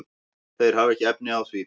Þeir hafa ekki efni á því.